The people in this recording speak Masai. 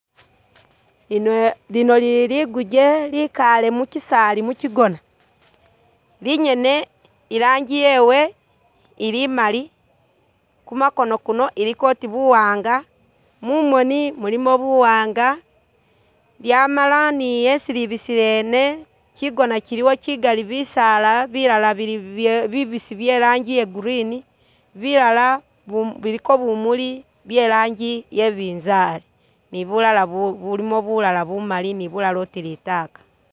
Lino lili liguje likale muchisali muchigona linyene irangi yewe ili Mali kumakoono kuno iliko oti buwaanga, mumoni mulimo buwaanga lyamala ni esi libisile ene chigoona chiliwo chigali bisaala bilala bili bya bibisi byerangi ya green bilala bu biliko bumuli byerangi yebinzali ni bulala bu bulimo bulala bumali ni bulala oti litaka